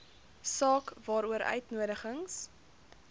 saak waaroor uitnodigings